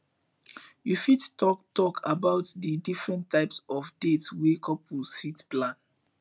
you fit talk talk about di different types of dates wey couples fit plan